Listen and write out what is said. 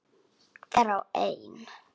Hver og ein.